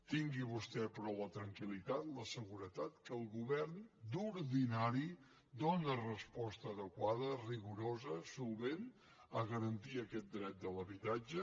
tingui vostè però la tranquil·litat la seguretat que el govern d’ordinari dóna resposta adequada rigorosa solvent per garantir aquest dret de l’habitatge